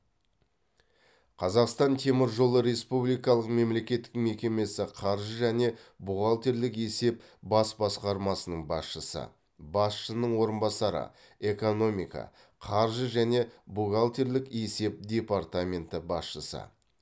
қазақстан темір жолы республикалық мемлекеттік мекемесі қаржы және бухгалтерлік есеп бас басқармасының басшысы басшының орынбасары экономика қаржы және бухгалтерлік есеп департаменті басшысы